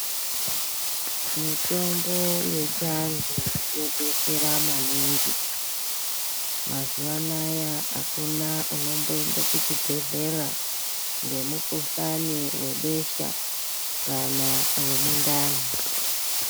Mitombo yechi antu yo betsera maningi mazuva anaya akuna unombo ende ku chibhedhlera nge mukuhlani webesha kana we mundani.